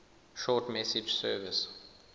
short message service